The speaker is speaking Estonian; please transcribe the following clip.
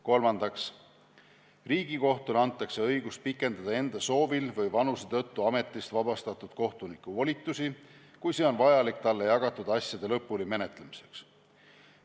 Kolmandaks, Riigikohtule antakse õigus pikendada enda soovil või vanuse tõttu ametist vabastatud kohtuniku volitusi, kui see on vajalik talle jagatud asjade lõpuni menetlemiseks.